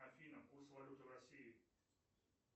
афина курс валюты россии